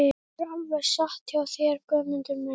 Það er alveg satt hjá þér Guðmundur minn.